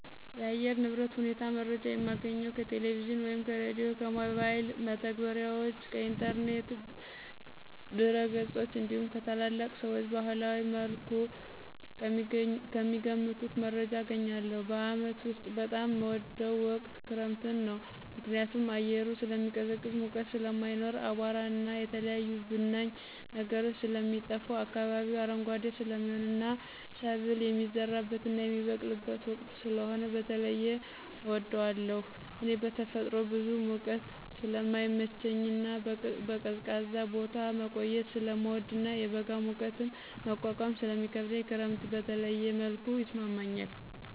የአየር ንብረት ሁኔታ መረጃ የማገኘው ከቴሌቪዥን ወይም ከሬዲዮ፣ ከሞባይል መተግበሪያዎች፣ ከኢንተርኔት ድረገጾች እንዲሁም ከታላላቅ ሰዎች በባህላዊ መልኩ ከሚገምቱት መረጃ አገኛለሁ። በዓመት ውስጥ በጣም ምወደው ወቅት ክረምትን ነው። ምክንያቱም አየሩ ስለሚቀዘቅዝ ሙቀት ስለማይኖር፣ አቧራና የተለያዩ ብናኝ ነገሮች ስለሚጠፋ፣ አካባቢው አረንጓዴ ስለሚሆንና ሰብል የሚዘራበትና የሚበቅልበት ወቅት ስለሆነ በተለየ እወደዋለሁ። እኔ በተፈጥሮ ብዙ ሙቀት ስለማይመቸኝና በቀዝቃዛ ቦታ መቆየት ስለምወድና የበጋ ሙቀትን መቋቋም ስለሚከብደኝ ክረምት በተለየ መልኩ ይስማማኛል።